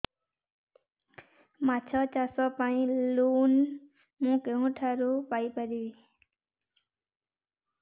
ମାଛ ଚାଷ ପାଇଁ ଲୋନ୍ ମୁଁ କେଉଁଠାରୁ ପାଇପାରିବି